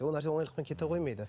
ол нәрсе онайлықпен кете қоймайды